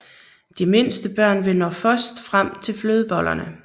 De mindste børn vil nå først frem til flødebollerne